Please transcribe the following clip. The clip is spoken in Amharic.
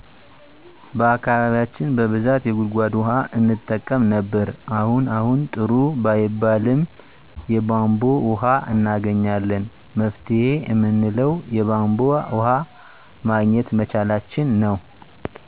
በአካባቢያችን በብዛት የጉድጎድ ውሀ እንጠቀም ነበር አሁን አሁን ጥሩ ባይባልም የቦንቦ ወሀ እናገኛለን መፍትሄ እምንለው የቦንቦ ወሀ ማግኘት መቻላችንን ነው